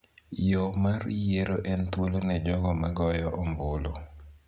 Yo mar yiero en thuolo ne jogo ma goyo ombulu